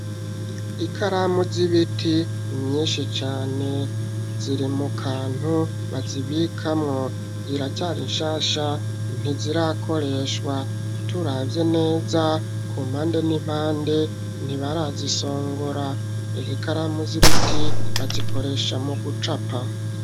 Ikaramu z'ibiti myinshi cane ziri mu kantu bazibikamwo ziracari inshasha ntizirakoreshwa turavye neza ku mpande n'impande ntibarazisongora izikaramu z'ibiti bazikoresha mu gucapa.